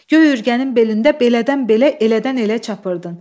Göy ürgənin belində belədən belə, elədən elə çapurırdın.